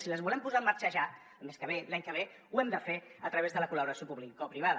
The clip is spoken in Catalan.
si les volem posar en marxa ja el mes que ve l’any que ve ho hem de fer a través de la col·laboració publicoprivada